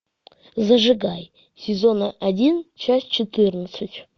зажигай сезон один часть четырнадцать